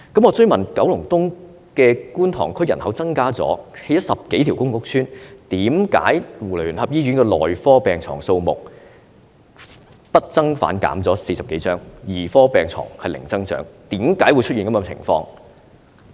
我追問九龍東觀塘區人口增加，多興建了10多條公共屋邨，為何基督教聯合醫院的內科病床數目不增反減40多張，兒科病床是零增長，為何會出現這種情況？